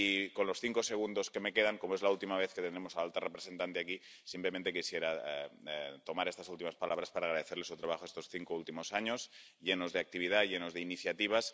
Y con los cinco segundos que me quedan ―como es la última vez que tendremos a la alta representante aquí― simplemente quisiera utilizar estas últimas palabras para agradecerle su trabajo estos cinco últimos años, llenos de actividad, llenos de iniciativas.